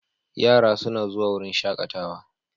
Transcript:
Yara suna zuwa wurin shakatawa.